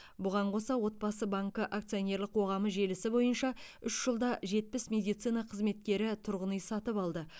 бұған қоса отбасы банкі акционерлік қоғамы желісі бойынша үш жылда жетпіс медицина қызметкері тұрғын үй сатып алды